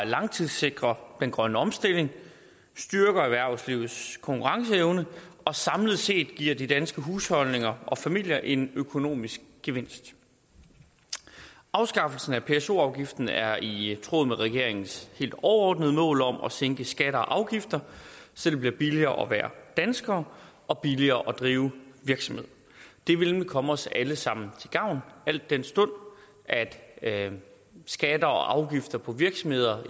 langtidssikrer den grønne omstilling styrker erhvervslivets konkurrenceevne og samlet set giver de danske husholdninger og familier en økonomisk gevinst afskaffelsen af pso afgiften er i tråd med regeringens helt overordnede mål om at sænke skatter og afgifter så det bliver billigere at være dansker og billigere at drive virksomhed det vil komme os alle sammen til gavn al den stund at skatter og afgifter på virksomhederne